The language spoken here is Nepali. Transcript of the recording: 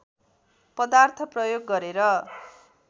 पदार्थ प्रयोग गरेर